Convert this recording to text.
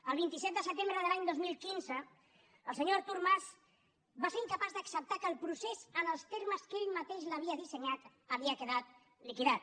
el vint set de setembre de l’any dos mil quinze el senyor artur mas va ser incapaç d’acceptar que el procés en els termes que ell mateix l’havia dissenyat havia quedat liquidat